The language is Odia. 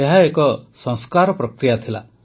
ଏହା ଏକ ସଂସ୍କାର ପ୍ରକ୍ରିୟା ଥିଲା